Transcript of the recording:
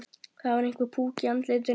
Það var einhver púki í andlitinu.